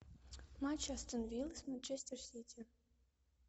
матч астон вилла с манчестер сити